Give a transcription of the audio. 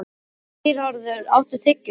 Geirharður, áttu tyggjó?